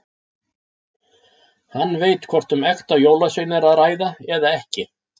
Hann veit hvort um ekta jólasvein er að ræða eða ekki.